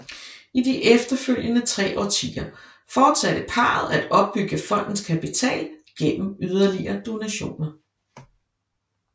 I de efterfølgende tre årtier fortsatte parret at opbygge fondens kapital gennem yderligere donationer